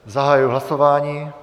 Zahajuji hlasování.